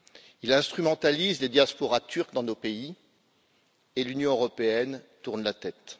Il instrumentalise les diasporas turques dans nos pays et l'Union européenne tourne la tête.